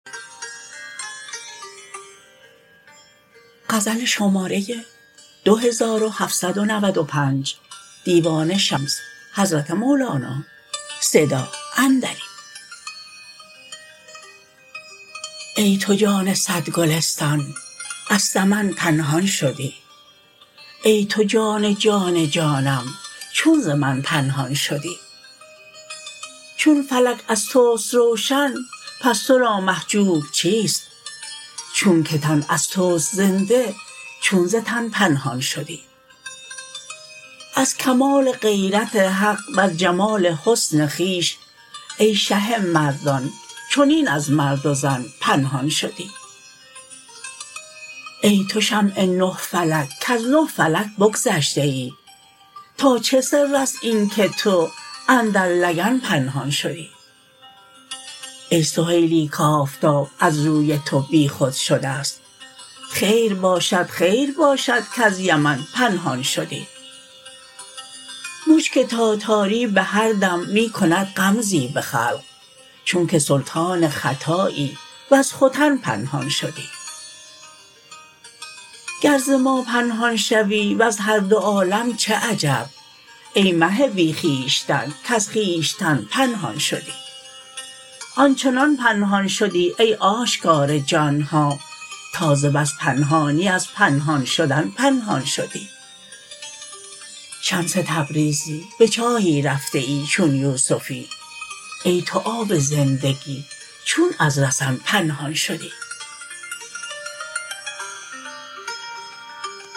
ای تو جان صد گلستان از سمن پنهان شدی ای تو جان جان جانم چون ز من پنهان شدی چون فلک از توست روشن پس تو را محجوب چیست چونک تن از توست زنده چون ز تن پنهان شدی از کمال غیرت حق وز جمال حسن خویش ای شه مردان چنین از مرد و زن پنهان شدی ای تو شمع نه فلک کز نه فلک بگذشته ای تا چه سر است اینک تو اندر لگن پنهان شدی ای سهیلی کآفتاب از روی تو بیخود شده ست خیر باشد خیر باشد کز یمن پنهان شدی مشک تاتاری به هر دم می کند غمزی به خلق چونک سلطان خطایی وز ختن پنهان شدی گر ز ما پنهان شوی وز هر دو عالم چه عجب ای مه بی خویشتن کز خویشتن پنهان شدی آن چنان پنهان شدی ای آشکار جان ها تا ز بس پنهانی از پنهان شدن پنهان شدی شمس تبریزی به چاهی رفته ای چون یوسفی ای تو آب زندگی چون از رسن پنهان شدی